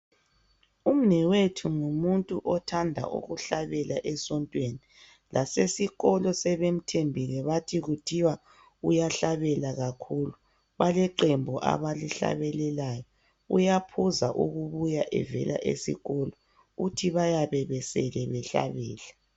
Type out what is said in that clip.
Umnewethu ngumuntu othanda ukuhlabela esontweni. Lasesikolo sebemthembile, bathi kuthiwa uyahlabela kakhulu. Baleqembu ablihlabelelayo. Uyaphuza ukubuya evela esikolo, uthi bayabe besele behlabela.